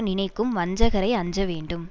நினைக்கும் வஞ்சகரை அஞ்சவேண்டும்